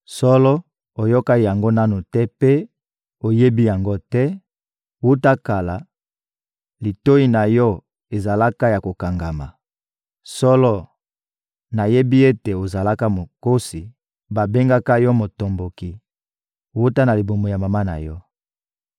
Solo, oyoka yango nanu te mpe oyebi yango te; wuta kala, litoyi na yo ezalaka ya kokangama. Solo, nayebi ete ozalaka mokosi; babengaka yo motomboki wuta na libumu ya mama na yo.